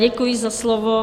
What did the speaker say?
Děkuji za slovo.